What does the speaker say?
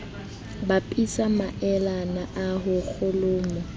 bapisa maelana a ho kholomo